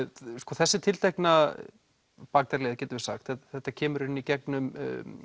þessi tiltekna bakdyraleið getum við sagt þetta kemur í rauninni í gegnum